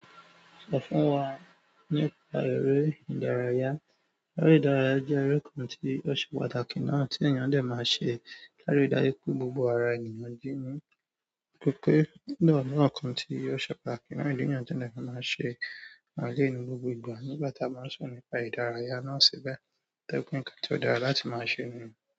Sọ fún wa nípa eré ìdárayá. Eré ìdárayá jẹ́ eré kan tí ó ṣe pàtàkì náà tí ènìyàn dẹ̀ máa ṣe. Lárí dájú pé gbogbo ara ènìyàn jí ni. Gẹ́gẹ́ bí náà, náà kan tí ó ṣe pàtàkì náà ènìyàn dé máa ń ṣe lẹ́nu gbogbo ìgbà. Nígbà tá a máa ń sọ̀rọ̀ nípa ìdárayá náà síbẹ̀, tó jẹ́ pé nǹkan tí ó dára láti máa ṣe nìyẹn.